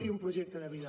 i un projecte de vida